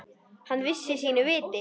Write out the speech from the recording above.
Hann vissi sínu viti.